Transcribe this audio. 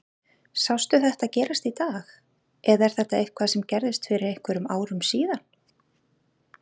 Sástu þetta gerast í dag eða er þetta eitthvað sem gerðist fyrir einhverjum árum síðan?